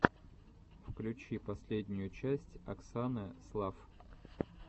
включи последнюю часть оксаны слафф